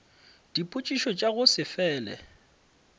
dipotšišo tša go se fele